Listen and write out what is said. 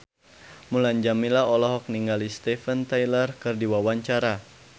Mulan Jameela olohok ningali Steven Tyler keur diwawancara